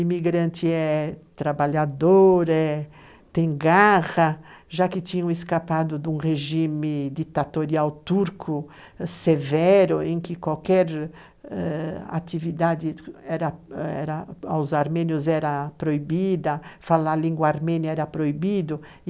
Imigrante é trabalhador, é, tem garra, já que tinham escapado de um regime ditatorial turco severo, em que qualquer ãh atividade era era aos armênios era proibida, falar a língua armênia era proibido.